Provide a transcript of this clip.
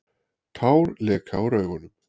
Tár leka úr augunum.